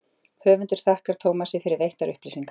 Höfundur þakkar Tómasi fyrir veittar upplýsingar.